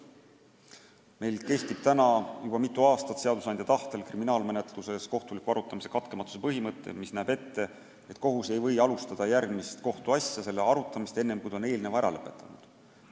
Meil kehtib juba mitmendat aastat seadusandja tahtel kriminaalmenetluses kohtuliku arutamise katkematuse põhimõte, mille kohaselt kohus ei või alustada järgmise kohtuasja arutamist enne, kui ta on eelmise ära lõpetanud.